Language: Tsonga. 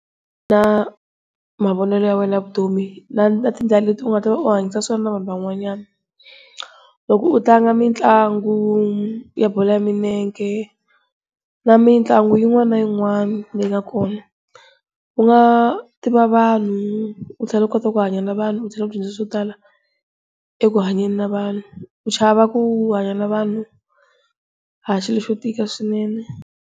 Na mavonelo ya wena ya vutomi na na tindlela leti u nga ta va u hanyisa swona na vanhu van'wanyana. Loko u tlanga mitlangu ya bolo ya milenge na mitlangu yin'wana na yin'wana leyi nga kona. U nga tiva vanhu u tlhela u kota ku hanya na vanhu u tlhela u dyondza swo tala eku hanyeni na vanhu ku chava ku hanya na vanhu a hi xilo xo tika swinene.